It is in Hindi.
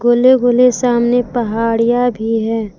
गोले गोले सामने पहाड़िया भी है।